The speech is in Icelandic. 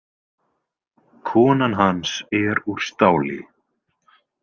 Konan hans er úr stáli.